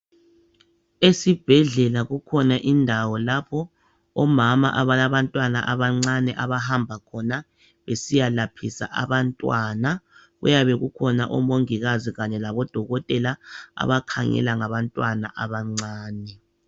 Esibhedlela kukhona indawo lapho omama abalabantwaba abancane abahamba khona besiyalaphisa abantwana kuyabe kukhona omongikazi kanye labo dokotela abakhangela ngabantwana abancane.